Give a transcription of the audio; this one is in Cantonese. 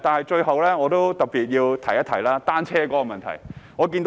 最後，我特別提及單車的問題。